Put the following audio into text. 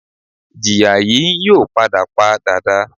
Ìjìyà yìí n yóò padà pa dàda